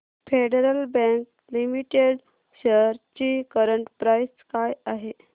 federal bank limited shares ची current price काय आहे